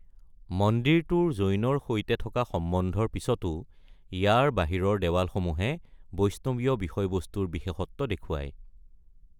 মন্দিৰটোৰ জৈনৰ সৈতে থকা সম্বন্ধৰ পিছতো ইয়াৰ বাহিৰৰ দেৱালসমূহে বৈষ্ণৱীয় বিষয়বস্তুৰ বিশেষত্ব দেখুৱাই।